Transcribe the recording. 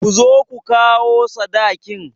Ku zo ku kawo sadakin!